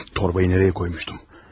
Torbayı haraya qoymuşdum?